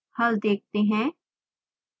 हल देखते हैं